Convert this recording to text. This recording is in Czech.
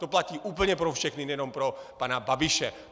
To platí úplně pro všechny, nejenom pro pana Babiše.